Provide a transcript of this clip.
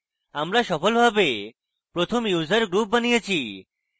আমরা সফলভাবে প্রথম user group বানিয়েছি